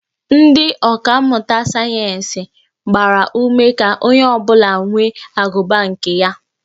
Ndị ọka mmụta sayeensị gbara ume ka onye ọ bụla nwee agụba nke ya